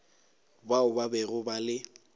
bao ba bego ba le